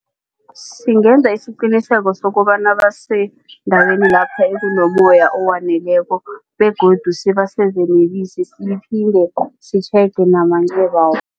Singenza isiqiniseko sokobana basendaweni lapha ekunommoya owaneleko begodu sibaseze nebisi siphinde sitjhege namancebabo.